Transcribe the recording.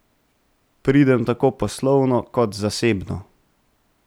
Pridem tako poslovno kot zasebno.